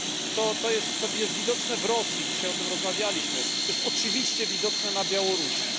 To jest widoczne w Rosji dzisiaj o tym rozmawialiśmy to jest oczywiście widoczne na Białorusi.